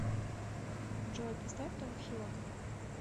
джой поставь том хилок